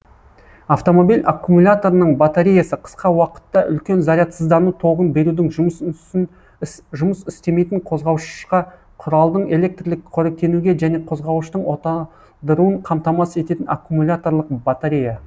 автомобиль аккумуляторының батареясы қысқа уақытта үлкен зарядсыздану тогын берудің жұмыс істемейтін қозғауышқа құралдың электрлік қоректенуге және қозғауыштың оталдыруын қамтамасыз ететін аккумуляторлық батарея